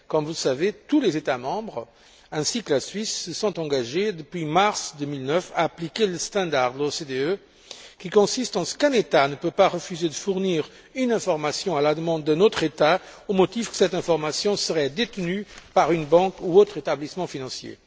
Comme vous le savez, tous les États membres ainsi que la Suisse se sont engagés depuis mars 2009 à appliquer la norme de l'OCDE qui prévoit qu'un État ne peut refuser de fournir une information à la demande d'un autre État, au motif que cette information serait détenue par une banque ou un autre établissement financier.